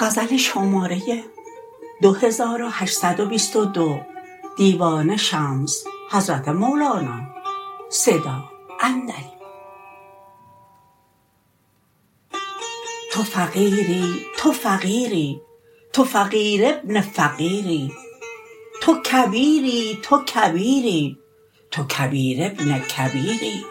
تو فقیری تو فقیری تو فقیر ابن فقیری تو کبیری تو کبیری تو کبیر ابن کبیری